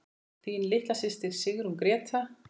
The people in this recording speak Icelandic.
Þín litla systir, Sigrún Gréta.